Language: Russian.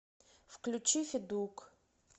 включи федук